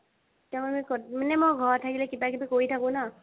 মানে মই ঘৰত কিবা-কিবি কৰি থাকো ন।